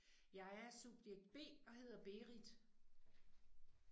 Jeg er subjekt B og hedder Berit